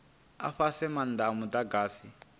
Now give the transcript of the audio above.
a fhasi maanda a mudagasi